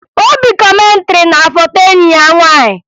Obi kọmentịrị na foto enyi ya nwaanyị